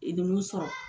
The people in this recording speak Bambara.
E de b'u sɔrɔ